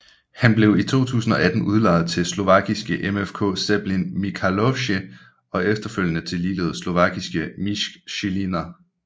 Han blev i 2018 udlejet til slovakiske MFK Zemplín Michalovce og efterfølgende til ligeledes slovakiske MŠK Žilina